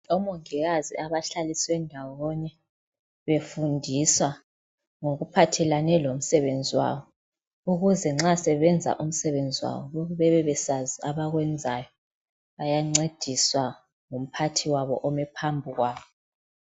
Omongikazi abahlaliswe ndawonye befundiswa ngokuphathelane lomsebenzi wabo ukuze nxa sebenza umsebenzi wabo bebekwazi abakwenzayo bayancediswa ngumphathi wabo ome phambi kwabo